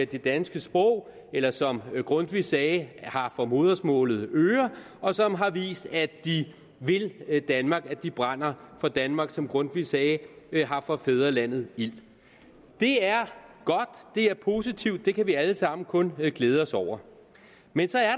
det danske sprog eller som grundtvig sagde har for modersmålet øre og som har vist at de vil danmark at de brænder for danmark som grundtvig sagde har for fædrelandet ild det er godt det er positivt det kan vi alle sammen kun glæde os over men så er